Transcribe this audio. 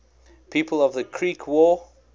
people of the creek war